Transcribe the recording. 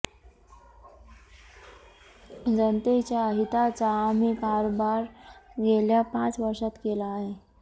जनतेच्या हिताचा आम्ही कारभार गेल्या पाच वर्षात केला आहे